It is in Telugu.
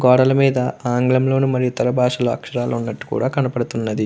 గోడల మీద ఆంగ్లంలోను మరియు ఇతర బాషలు అక్షరాలు ఉన్నట్టు కూడా కనిపడుతున్నది.